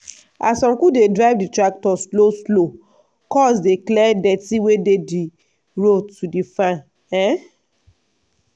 as uncu dey drive di tractor slow slow cuz dey clear dirty wey dey di road to di farm. um